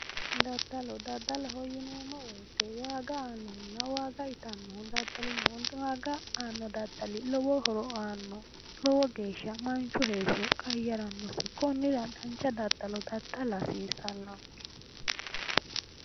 Daddalo daddaloho yineemo woyte waaga aanoho na waaga itannoho daddal no waaga aanno daddal lowo horo aanno lowo geesha manichu heesho qayyaranno Konnira danicha daddalo daddala hasiissanonike